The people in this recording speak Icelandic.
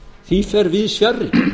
því fer víðs fjarri